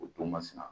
O don masina